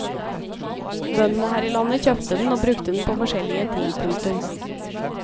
Bøndene her i landet kjøpte den og brukte den på forskjellige ting. punktum